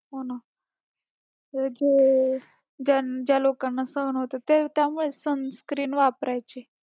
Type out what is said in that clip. हो ना, जे ज्या लोकांना सहन होतंय त्यामुळेच sun cream वापरायची.